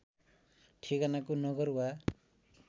ठेगानाको नगर वा